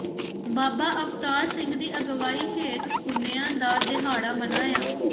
ਬਾਬਾ ਅਵਤਾਰ ਸਿੰਘ ਦੀ ਅਗਵਾਈ ਹੇਠ ਪੁੰਨਿਆ ਦਾ ਦਿਹਾੜਾ ਮਨਾਇਆ